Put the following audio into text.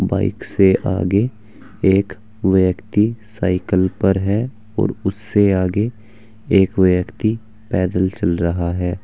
Bike से आगे एक व्यक्ति साइकिल पर है और उससे आगे एक व्यक्ति पैदल चल रहा है।